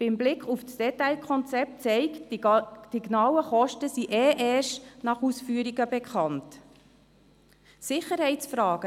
Der Blick auf das Detailkonzept zeigt, dass die genauen Kosten eh erst nach der Ausführung bekannt sind.